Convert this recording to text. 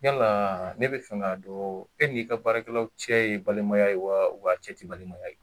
Yala ne bɛ fɛ ka don e ni'i ka baarakɛlaw cɛ ye balimaya ye wa a cɛ tɛ balimaya ye?